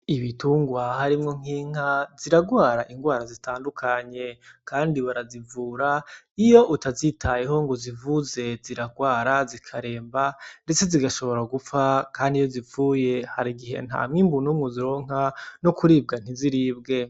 Ibitungwa harimwo nk'inka ziragwara indwara zitandukanye kandi barazivura. Iyo utazitayeho ngo uzivure zirarwara zikaremba, ndetse zigashobora gupfa kandi iyo zipfuye hari igihe nta mwimbu n'umwe uzironka no kuribwa ntiziribwe.